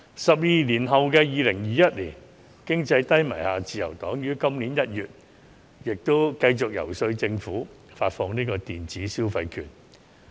十二年後的2021年經濟低迷，自由黨於今年1月繼續遊說政府發放電子消費券。